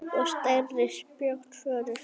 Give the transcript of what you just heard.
Og stærri spjót voru fengin.